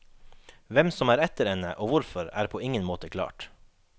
Hvem som er etter henne, og hvorfor, er på ingen måte klart.